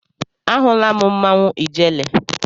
Ahụla m mmanwụ ijele.